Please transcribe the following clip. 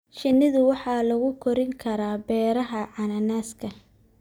Shinnidu waxa lagu korin karaa beeraha cananaaska.